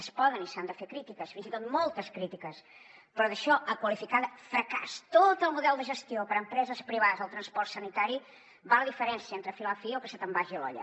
es poden i s’han de fer crítiques fins i tot moltes crítiques però d’això a qualificar de fracàs tot el model de gestió per empreses privades del transport sanitari va la diferència entre filar fi o que se te’n vagi l’olla